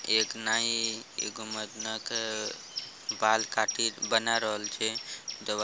एक नाई एगो मर्दाना के बाल काटी बना रहल छै।